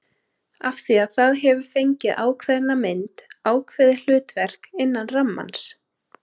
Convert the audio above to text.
Af því það hefur fengið ákveðna mynd, ákveðið hlutverk, innan rammans.